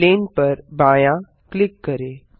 plane पर बायाँ click करें